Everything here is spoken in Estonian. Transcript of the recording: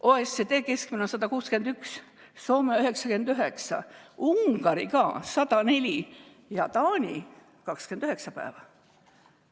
OECD keskmine on 161, Soomes on 99, Ungaris 104 ja Taanis 29 päeva.